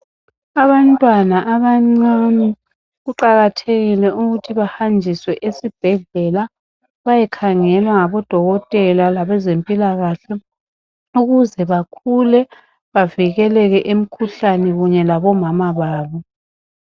Abantwana abancane kuqakathekile ukuthi bahanjiswe esibhedlela. Bayekhangelwa ngabodokotela, labezempilakahle. Ukuze bakhule, bavikeleke emkhuhlane kanye labomama babo.